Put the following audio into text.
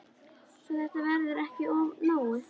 Svo þetta verði ekki of náið.